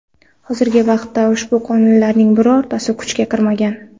Hozirgi vaqtda ushbu qonunlarning birortasi kuchga kirmagan.